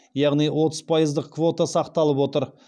яғни отыз пайыздық квота сақталып отыр